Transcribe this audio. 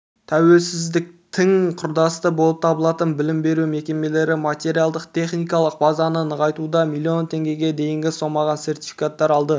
тәуелсіздіктің құрдастары болып табылатын білім беру мекемелері материалдық-техникалық базаны нығайтуға млн теңгеге дейінгі сомаға сертификаттар алды